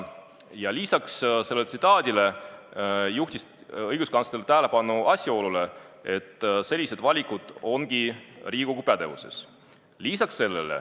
Ja lisaks selles tsitaadis öeldule juhtis õiguskantsler tähelepanu asjaolule, et sellised valikud ongi Riigikogu pädevuses.